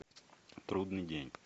трудный день